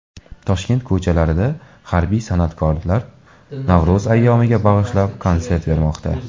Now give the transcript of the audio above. Toshkent ko‘chalarida harbiy san’atkorlar Navro‘z ayyomiga bag‘ishlab konsert bermoqda .